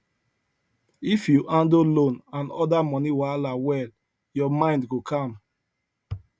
if you handle loan and other money wahala well your mind go calm